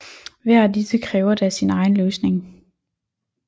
Hver af disse kræver da sin egen løsning